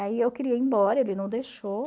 Aí eu queria ir embora, ele não deixou.